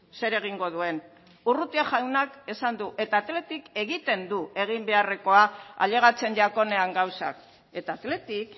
zer egingo duen urrutia jaunak esan du eta athletic egiten du egin beharrekoa ailegatzen jakonean gauzak eta athletic